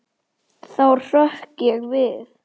Þá hrökk ég við.